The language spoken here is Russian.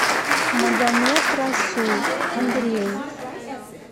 магомед расул андреев